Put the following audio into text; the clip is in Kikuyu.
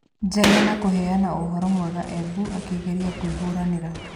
Njengena kũheana ũhorũ mwega Embu akĩgeria kwĩhuranĩra